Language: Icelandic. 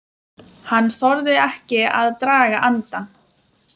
Hann þorði ekki að draga andann.